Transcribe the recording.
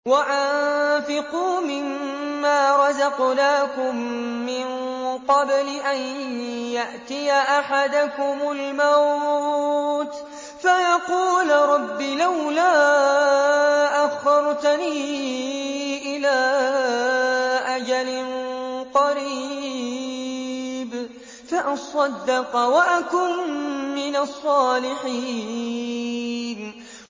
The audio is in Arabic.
وَأَنفِقُوا مِن مَّا رَزَقْنَاكُم مِّن قَبْلِ أَن يَأْتِيَ أَحَدَكُمُ الْمَوْتُ فَيَقُولَ رَبِّ لَوْلَا أَخَّرْتَنِي إِلَىٰ أَجَلٍ قَرِيبٍ فَأَصَّدَّقَ وَأَكُن مِّنَ الصَّالِحِينَ